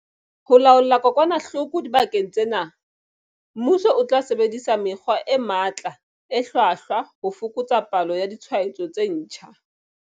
Ho laola kokwanahloko dibakeng tsena, mmuso o tla sebedisa mekgwa e matla e hlwahlwa ho fokotsa palo ya ditshwaetso tse ntjha.